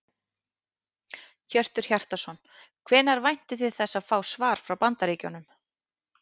Hjörtur Hjartarson: Hvenær væntið þið þess að fá svar frá Bandaríkjunum?